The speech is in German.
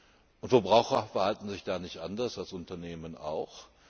Die Verbraucher verhalten sich da nicht anders als Unternehmen auch.